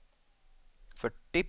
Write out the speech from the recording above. fyrtio